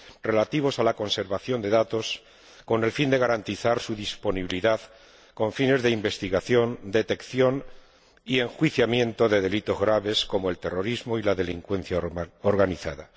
relativas a la conservación de datos, con el fin de garantizar su disponibilidad con fines de investigación, detección y enjuiciamiento de delitos graves, como el terrorismo y la delincuencia organizada.